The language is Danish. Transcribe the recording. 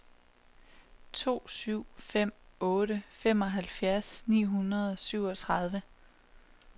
to syv fem otte femoghalvtreds ni hundrede og syvogtredive